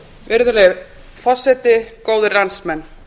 virðulegi forseti góðir landsmenn